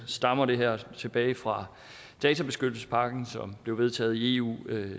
stammer det her tilbage fra databeskyttelsespakken som blev vedtaget i eu